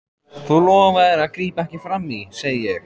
Þú lofaðir að grípa ekki frammí, segi ég.